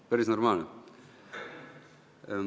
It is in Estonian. Ah päris normaalne?